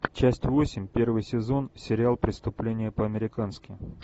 часть восемь первый сезон сериал преступление по американски